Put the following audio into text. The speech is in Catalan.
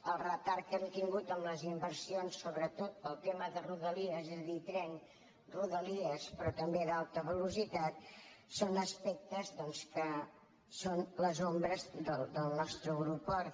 el retard que hem tingut en les inversions sobretot pel tema de rodalies és a dir tren rodalies però també d’alta velocitat són aspectes doncs que són les ombres del nostre aeroport